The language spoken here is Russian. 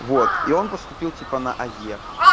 вот и он поступил типа на ае